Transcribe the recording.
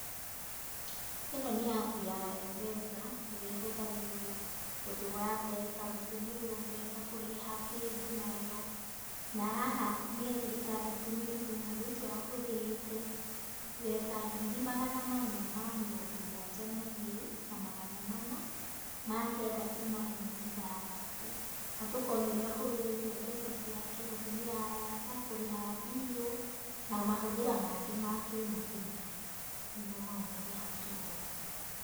Ĩno nĩ apu ya M-pesa, ĩrĩa ĩhũthagĩrwo gũtũma mbeca, gũtũmĩrwo mbeca, kũrĩha kĩndũ nayo, na haha mĩeri ĩtandatũ mĩthiru mũndũ ũcio ahũthĩrĩte mbeca ngiri magana mana ma mĩrongo mũgwanja na igĩrĩ, na magana mana ma kenda turuma ĩmwe ithathatũ. Na tũkonio ũrĩa ahũthĩrĩte mbeca ciake gũtũmĩra arata, kũrĩha mbiirũ na mahũthĩra make ma kĩ-mũthenya, nĩmo mau me hau tũronio.